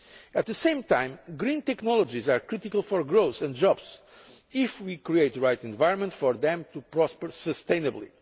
At the same time, green technologies are critical for growth and jobs, provided that we create the right environment for them to prosper sustainably.